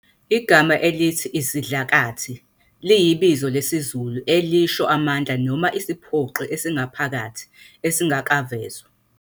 Igama elithi "isidlakathi" liyibizo lesizulu elisho amandla noma isiphoqi esingaphakathi, esingakavezwa.